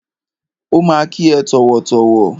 Ó ma kí ẹ tọ̀wọ̀tọ̀wọ̀.